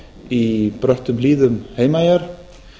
í bröttum hlíðum heimaeyjar